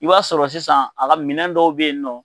I b'a sɔrɔ sisan a ka ko minɛn dɔw bɛ yen nɔ